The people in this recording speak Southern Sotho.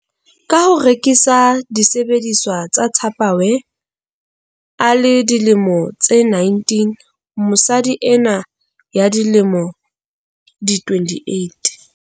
Ka ho rekisa disebediswa tsa Tupperware a le dilemo tse 19, mosadi enwa ya dilemo di 28.